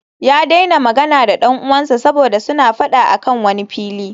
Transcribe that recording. Ya daina magana da dan uwansa saboda suna fada a kan wani fili